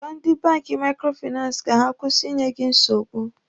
Gwa ndị banki maikrofinansi ka ha kwụsị ịnye gị nsogbu!